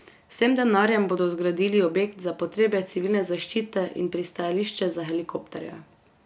S tem denarjem bodo zgradili objekt za potrebe civilne zaščite in pristajališče za helikopterje.